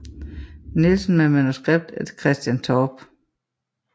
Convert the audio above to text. Nielsen med manuskript af Christian Torpe